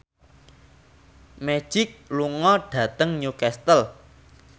Magic lunga dhateng Newcastle